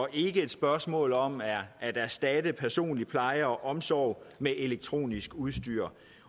er ikke et spørgsmål om at at erstatte personlig pleje og omsorg med elektronisk udstyr